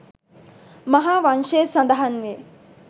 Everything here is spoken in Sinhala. මහා වංශයේ සඳහන් වේ